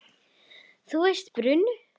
Þú veist að bruna